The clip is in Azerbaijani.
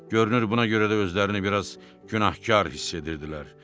Görünür buna görə də özlərini bir az günahkar hiss edirdilər.